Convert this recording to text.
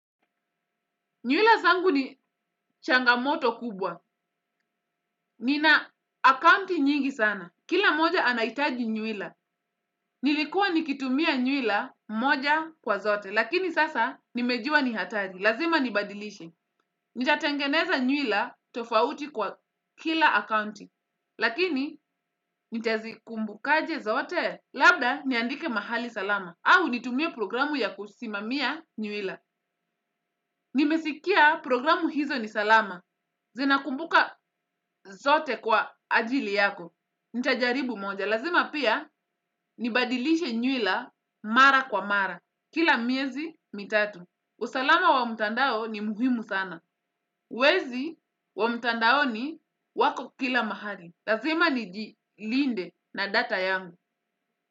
Nywila zangu ni changamoto kubwa. Nina account nyingi sana. Kila mmoja anahitaji nywila. Nilikuwa nikitumia nywila moja kwa zote. Lakini sasa nimejua ni hatali. Lazima nibadilishe. Nitatengeneza nywila tofauti kwa kila accounti. Lakini nitazikumbuka aje zote. Labda niandike mahali salama. Au nitumie programu ya kusimamia nywila. Nimesikia programu hizo ni salama. Zina kumbuka zote kwa ajili yako. Nitajaribu moja. Lazima pia nibadilishe nywila mara kwa mara. Kila miezi mitatu. Usalama wa mutandao ni muhimu sana. Wezi wa mutandao ni wako kila mahali. Lazima nijilinde na data yangu.